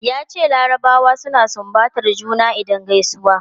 Yace larabawa suna sumbatar juna idan gaisuwa.